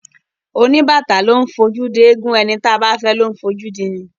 Oníbàtà ló ńfojú di ẹ̀gún; ẹni táa bá fẹ́ ló ńfojú dini.